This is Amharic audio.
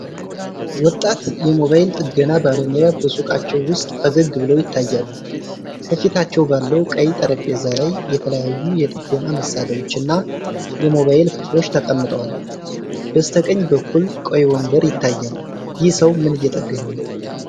ወጣት የሞባይል ጥገና ባለሙያ በሱቃቸው ውስጥ ፈገግ ብለው ይታያሉ። ከፊታቸው ባለው ቀይ ጠረጴዛ ላይ የተለያዩ የጥገና መሣሪያዎችና የሞባይል ክፍሎች ተቀምጠዋል። በስተቀኝ በኩል ቀይ ወንበር ይታያል። ይህ ሰው ምን እየጠገነ ነው?